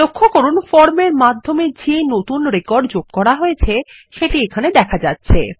লক্ষ্য করুন ফর্ম এরমাধ্যমে যে নতুন রেকর্ডযোগ করা হয়েছে সেটি এখানে দেখা যাচ্ছে